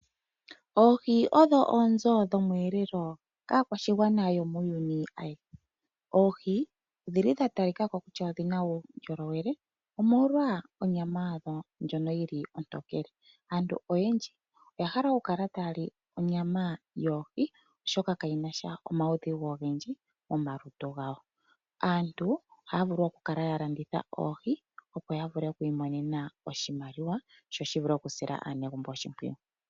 Oohi odho oonzo dhomweelelo kaakwashigwana yomuuyuni ayehe. Oohi odha talika ko kutya odhi na uundjolowele, omolwa onyama yadho ndjoka ontokele. Aantu oyendji oya hala okukala taya li onyama yohi, oshoka kayi na sha omaudhigu ogendji momalutu gawo. Aantu ohaya vulu okukala ya landitha oohi, opo ya vule okumona oshimaliwa sho shi sile aanegumbo oshimpwiyu.